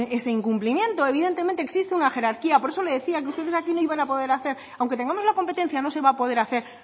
ese incumplimiento evidentemente existe una jerarquía por eso le decía que ustedes aquí no iban a poder hacer aunque tengamos la competencia no se va a poder hacer